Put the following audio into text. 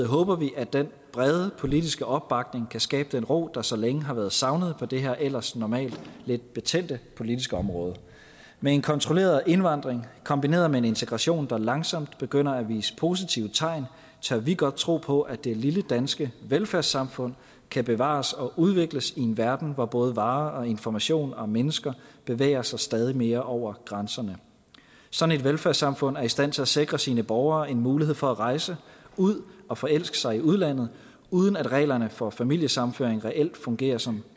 håber vi at den brede politiske opbakning kan skabe den ro der så længe har været savnet på det her ellers normalt lidt betændte politiske område med en kontrolleret indvandring kombineret med en integration der langsomt begynder at vise positive tegn tør vi godt tro på at det lille danske velfærdssamfund kan bevares og udvikles i en verden hvor både varer informationer og mennesker bevæger sig stadig mere over grænserne sådan et velfærdssamfund er i stand til at sikre sine borgere en mulighed for at rejse ud og forelske sig i udlandet uden at reglerne for familiesammenføring reelt fungerer som